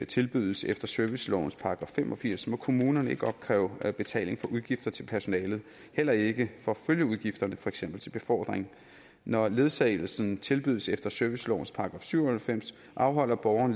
tilbydes efter servicelovens § fem og firs må kommunerne ikke opkræve betaling for udgifter til personalet heller ikke for følgeudgifterne til for eksempel befordring når ledsagelsen tilbydes efter servicelovens § syv og halvfems afholder borgeren